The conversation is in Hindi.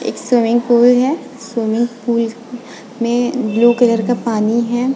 स्विमिंग पूल है स्विमिंग पूल में ब्लू कलर का पानी है।